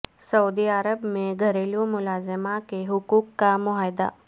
سعودی Arab میں گھریلو ملازمہ کے حقوق کا معاہدہ